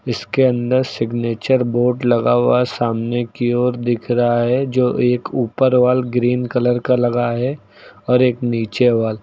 इसके अंदर signature board लगा हुआ सामने की ओर दिख रहा है जो एक ऊपर वॉल ग्रीन कलर का लगा है और एक नीचे वॉल ।